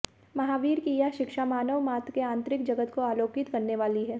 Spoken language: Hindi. महावीर की यह शिक्षा मानव मात्र के आंतरिक जगत को आलोकित करने वाली है